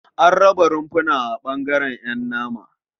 An raba rumfuna a ɓangaren ƴan nama.